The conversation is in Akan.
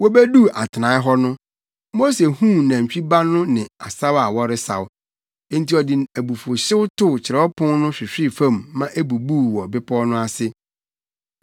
Wobeduu atenae hɔ, Mose huu nantwi ba no ne asaw a wɔresaw. Enti ɔde abufuwhyew tow kyerɛwapon no hwehwee fam ma ebubuu wɔ bepɔw no ase.